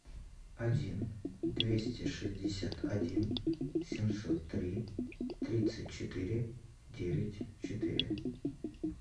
один двести шестьдесят один семьсот три тридцать четыре девять четыре